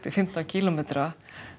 fimmtán kílómetra